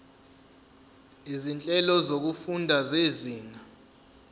izinhlelo zokufunda zezinga